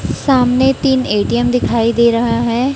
सामने तीन ए_टी_एम दिखाई दे रहा है।